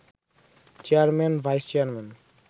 chairman, vice chairman